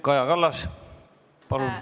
Kaja Kallas, palun!